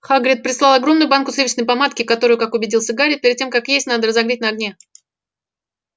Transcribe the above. хагрид прислал огромную банку сливочной помадки которую как убедился гарри перед тем как есть надо разогреть на огне